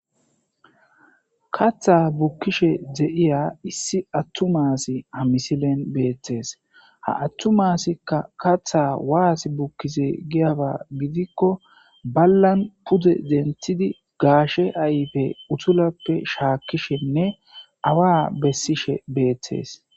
katha bukkishe de7iya issi attumasi amisilen beettes ha attumasikka katha waas bukkize giyaba gidikko ballan pude denthidi gaashe ayfe utulappe shaakkishenne awa bessishe beettees